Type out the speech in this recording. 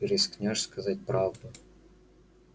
ты рискнёшь сказать правду